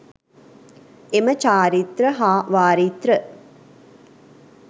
එම චාරිත්‍ර හා වාරිත්‍ර